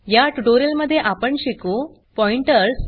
या ट्यूटोरियल मध्ये आपण शिकू पॉइंटर्स